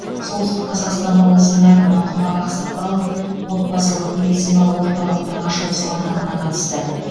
солтүстік қазақстан облысының әкімі құмар ақсақалов отбасылық медициналық орталықтың ашылу салтанатына қатысты